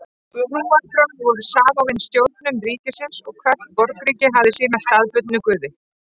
Trúarbrögð voru samofin stjórnun ríkisins og hvert borgríki hafði sína staðbundnu guði.